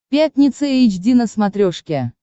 пятница эйч ди на смотрешке